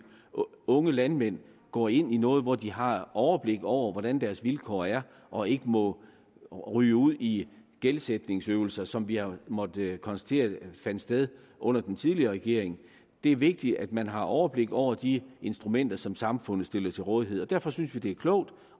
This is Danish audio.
unge landmænd går ind i noget hvor de har overblik over hvordan deres vilkår er og ikke må ryge ud i gældsætningsøvelser som vi har måttet konstatere fandt sted under den tidligere regering det er vigtigt at man har overblik over de instrumenter som samfundet stiller til rådighed og derfor synes vi det er klogt